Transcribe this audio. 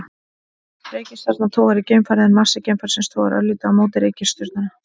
Reikistjarna togar í geimfarið en massi geimfarsins togar örlítið á móti í reikistjörnuna.